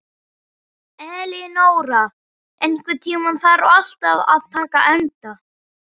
Elinóra, einhvern tímann þarf allt að taka enda.